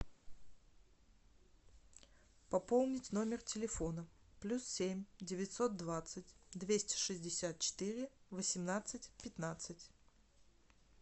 пополнить номер телефона плюс семь девятьсот двадцать двести шестьдесят четыре восемнадцать пятнадцать